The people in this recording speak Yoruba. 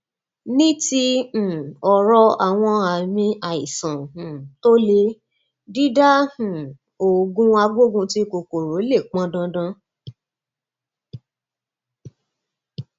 ní ti um ọrọ àwọn àmì àìsàn um tó le dídá um òògùn agbógunti kòkòrò lè pọn dandan